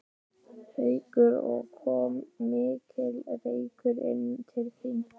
Haukur: Og kom mikill reykur inn til þín?